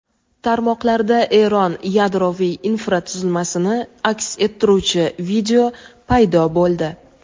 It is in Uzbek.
Tarmoqlarda Eron yadroviy infratuzilmasini aks ettiruvchi video paydo bo‘ldi.